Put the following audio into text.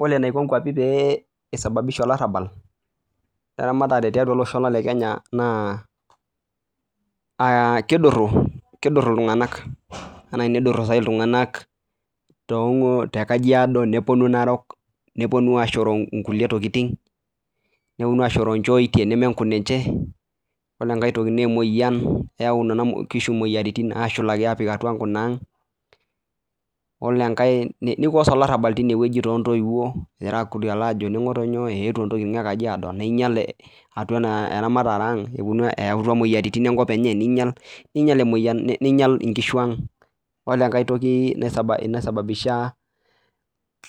Ore enaiko nkwapii pee eisababisha olarabal le ramatare tiatua olosho lang lee Kenya naa kiduru iltung'ana nepuonuu ashoroo ntokitin nemenkunye ore enkae naa emoyian apik atua nkunag nikoz olarabal too ntoyiwuo ewutuo entokitin ninyial entokitin ang